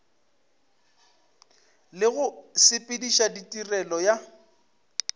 le go sepediša tirelo ya